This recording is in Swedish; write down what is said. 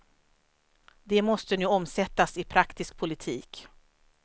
De måste nu omsättas i praktisk politik.